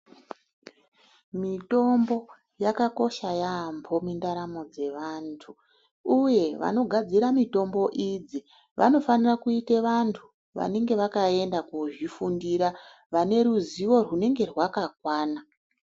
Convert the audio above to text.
Mitombo yakakosha yambo mundaramo mwevantu uye vanogadzira mitombo idzi vanosanira kuite vantu vanenge vakaenda kozvifundira vaneruzivo rwinenge rwakakwana.